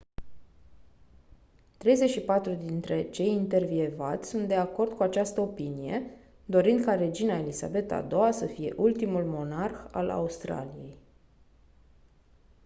34% dintre cei intervievați sunt de acord cu această opinie dorind ca regina elisabeta a ii-a să fie ultimul monarh al australiei